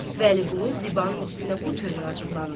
Vəliqulu Zibanın üstünə bu tövr acıqlandı.